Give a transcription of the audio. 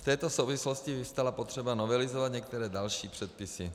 V této souvislosti vyvstala potřeba novelizovat některé další předpisy.